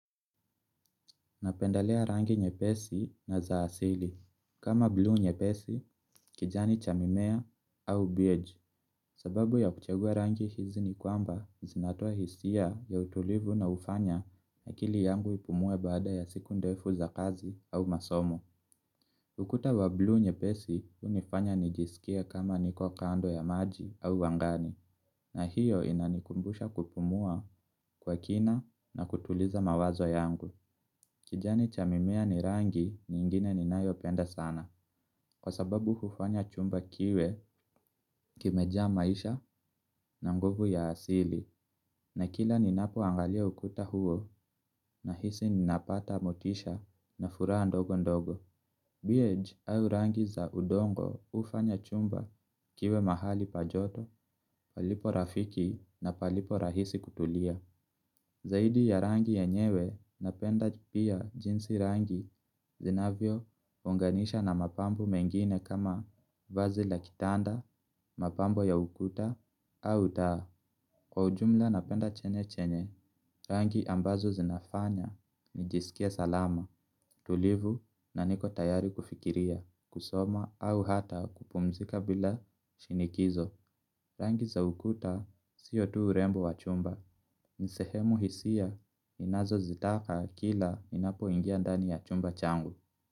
Napendelea rangi nyepesi na za asili. Kama blue nyepesi, kijani cha mimea au beige. Sababu ya kuchagua rangi hizi ni kwamba zinatoa hisia ya utulivu na hufanya akili yangu ipumue baada ya siku ndefu za kazi au masomo. Ukuta wa blue nyepesi hunifanya nijisikie kama niko kando ya maji au angani na hiyo inanikumbusha kupumua kwa kina na kutuliza mawazo yangu. Kijani cha mimea ni rangi nyingine ninayopenda sana kwa sababu hufanya chumba kiwe kimejaa maisha na nguvu ya asili na kila ninapoangalia ukuta huo nahisi ninapata motisha na furaha ndogo ndogo. Biyej au rangi za udongo hufanya chumba kiwe mahali pa joto, palipo rafiki na paliporahisi kutulia. Zaidi ya rangi yenyewe napenda pia jinsi rangi zinavyounganisha na mapambo mengine kama vazi la kitanda, mapambo ya ukuta, au taa. Kwa ujumla napenda chenye chenye, rangi ambazo zinafanya nijisikie salama, tulivu na niko tayari kufikiria, kusoma au hata kupumzika bila shinikizo. Rangi za ukuta siyo tu urembo wa chumba, ni sehemu hisia inazozitaka kila ninapoingia ndani ya chumba changu.